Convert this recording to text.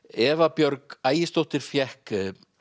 Eva Björg Ægisdóttir fékk